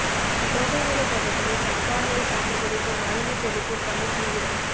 தோகைமலை பகுதியில் சம்பா நெல் சாகுபடிக்கு மருந்து தெளிக்கும் பணி தீவிரம்